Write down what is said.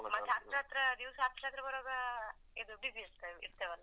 ಮತ್ತೆ ಹತ್ರ ಹತ್ರ ದಿವಸ ಹತ್ರ ಹತ್ರ ಬರುವಾಗ ಇದು busy ಇರ್ತೆ~ ಇರ್ತೇವೆ ಅಲ.